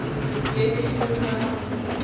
be e no ba go